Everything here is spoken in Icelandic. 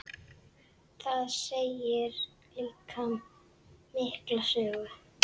Það segir líka mikla sögu.